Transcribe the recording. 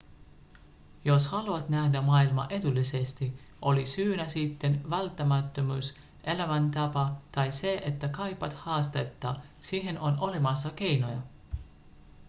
jos haluat nähdä maailmaa edullisesti oli syynä sitten välttämättömyys elämäntapa tai se että kaipaat haastetta siihen on olemassa keinoja